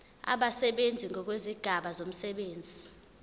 abasebenzi ngokwezigaba zomsebenzi